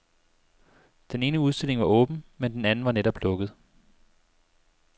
Den ene udstilling var åben, men den anden var netop lukket.